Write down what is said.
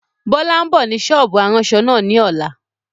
Bọlá ń bọ̀ ni sọ́ọ́bù aránṣọ náà ni ọ̀la